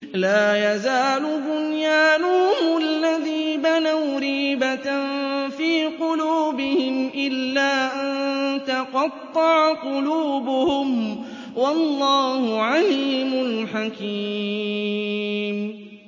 لَا يَزَالُ بُنْيَانُهُمُ الَّذِي بَنَوْا رِيبَةً فِي قُلُوبِهِمْ إِلَّا أَن تَقَطَّعَ قُلُوبُهُمْ ۗ وَاللَّهُ عَلِيمٌ حَكِيمٌ